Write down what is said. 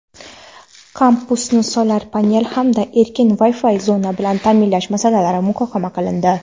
kampusni "Solar panel" hamda erkin Wi-Fi zona bilan taʼminlash masalalari muhokama qilindi.